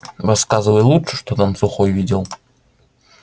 рассказывай лучше что там сухой видел